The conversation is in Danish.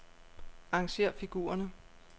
Arrangér figurerne.